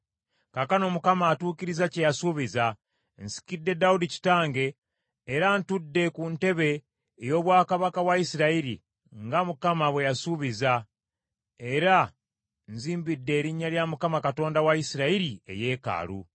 “Kaakano, Mukama atuukirizza kye yasuubiza. Nsikidde Dawudi kitange, era ntudde ku ntebe ey’obwakabaka bwa Isirayiri, nga Mukama bwe yasuubiza, era nzimbidde Erinnya lya Mukama Katonda wa Isirayiri eyeekaalu.